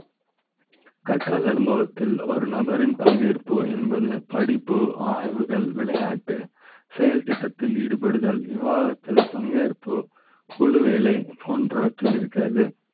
கற்றல் அனுபவ த்தில் ஒரு நபரின் பங்கேற்பு என்பது படிப்பு ஆய்வுகள், விளையாட்டு செயல் திட்ட த்தில் ஈடுபடுதல், விவாத த்தில் பங்கேற்பு குழு, வேலை போன்றவற்றில் இருக்கிறது